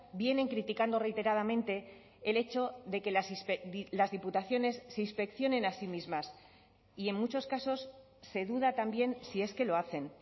vienen criticando reiteradamente el hecho de que las diputaciones se inspeccionen así mismas y en muchos casos se duda también si es que lo hacen